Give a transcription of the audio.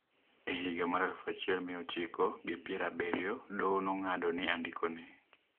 E higa mar aluf achiel mia ochiko gi pier abiriyo, doho nong'ado ni andikeno.